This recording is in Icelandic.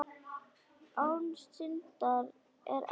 Án syndar er ekkert líf.